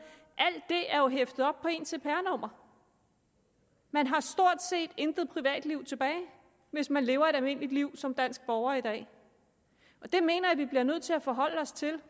alt det er jo hæftet op på ens cpr nummer man har stort set intet privatliv tilbage hvis man lever et almindeligt liv som dansk borger i dag det mener jeg vi bliver nødt til at forholde os til